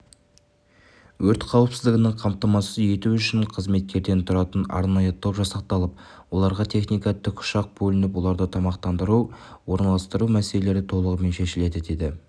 өрт қауіпсіздігін қамтамасыз ету үшін қызметкерден тұратын арнайы топ жасақталып оларға техника тікұшақ бөлініп оларды тамақтандыру орналастыру мәселелері толығымен шешілді деді